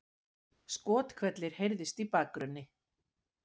Skothvellir heyrðust í bakgrunni